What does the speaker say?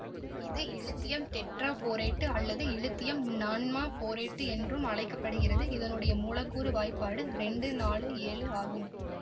இது இலித்தியம் டெட்ராபோரேட்டு அல்லது இலித்தியம் நானமா போரேட்டு என்றும் அழைக்கப்படுகிறதுஇதனுடைய மூலக்கூற்று வாய்ப்பாடு இரண்டு நாலு ஏழு ஆகும்